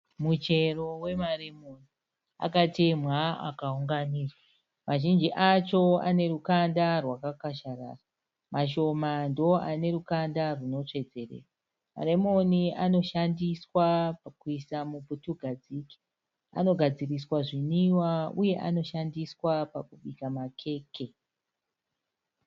Muchero wemaremoni. Akatemwa akawunganidzwa. Mazhinji acho ane rukanda rwakakasharara. Mashoma ndo ane rukanda runotsvedzerera. Maremoni anoshandiswa pakuiswa muputugadzike. Anogadziriswa zvinwiwa uye anoshandiswa pakubika makeke.